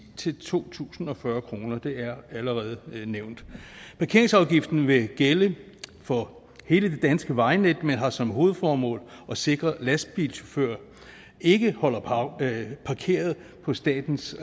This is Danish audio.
til to tusind og fyrre kroner det er allerede nævnt parkeringsafgiften vil gælde for hele det danske vejnet men har som hovedformål at sikre at lastbiler ikke holder parkeret på statens